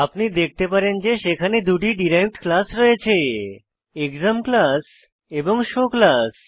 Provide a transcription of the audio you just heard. আপনি দেখতে পারেন যে সেখানে দুটি ডিরাইভড ক্লাস রয়েছে এক্সাম ক্লাস এবং শো ক্লাস